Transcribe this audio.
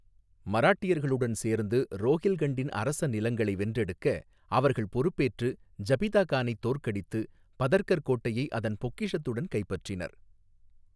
மராட்டியர்களுடன் சேர்ந்து ரோஹில்கண்டின் அரச நிலங்களை வென்றெடுக்க அவர்கள் பொறுப்பேற்று, ஜபிதா கானைத் தோற்கடித்து, பதர்கர் கோட்டையை அதன் பொக்கிஷத்துடன் கைப்பற்றினர்.